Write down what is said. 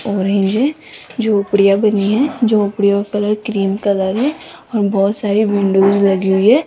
और है ये झोपड़िया बनी है झोपड़ियों कलर क्रीम कलर है और बहोत सारी विंडोज लगी हुई है।